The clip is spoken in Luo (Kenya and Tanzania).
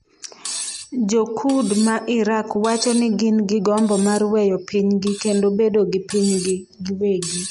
Jo-Kurd ma Iraq wacho ni gin gi gombo mar weyo pinygi kendo bedo gi pinygi giwegi